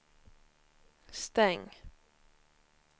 stäng